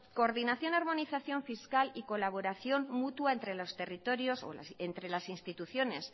coordinación armonización fiscal y colaboración mutua entre las instituciones